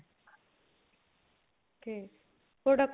okay product